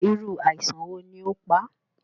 Irú àìsàn wo ni ó pá?